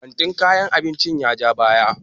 kanti kayan abinci ya ja baya